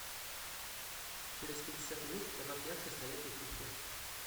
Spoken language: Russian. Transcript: через пятьдесят минут добавь яркость на летней кухне